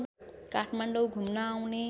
काठमाडौँ घुम्न आउने